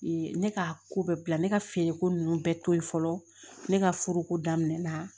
ne ka ko bɛɛ bila ne ka feereko nunnu bɛɛ to ye fɔlɔ ne ka furuko daminɛna